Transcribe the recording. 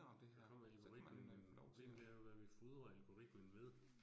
Og så kan man jo øh, problemet det er jo, hvad vi fodrer algoritmen ved